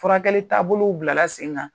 Furakɛli taabolow bila la sen kan.